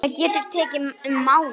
Það getur tekið um mánuð.